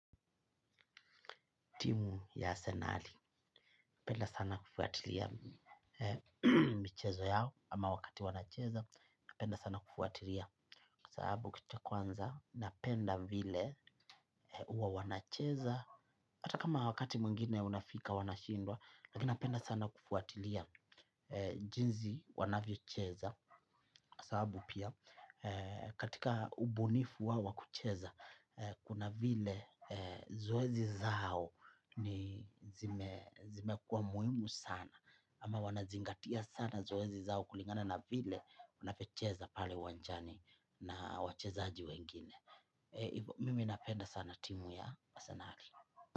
Timu ya Arsenal, napenda sana kufuatilia michezo yao ama wakati wanacheza, napenda sana kufuatilia. kwasababu kitu cha kwanza, napenda vile huwa wanacheza, hata kama wakati mwingine unafika wanashindwa, lakini napenda sana kufuatilia jinsi wanavyo cheza. Sababu pia, katika ubunifu wao wakucheza, kuna vile zoezi zao ni zime kuwa muhimu sana. Ama wanazingatia sana zoezi zao kulingana na vile unavyocheza pale uwanjani na wachezaji wengine. Mimi napenda sana timu ya arsenal.